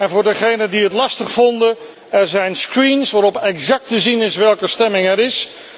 En voor degenen die het lastig vonden er zijn schermen waarop exact te zien is welke stemming er is.